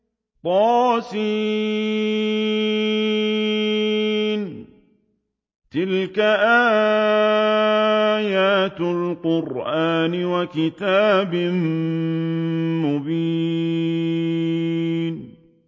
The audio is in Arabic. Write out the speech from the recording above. طس ۚ تِلْكَ آيَاتُ الْقُرْآنِ وَكِتَابٍ مُّبِينٍ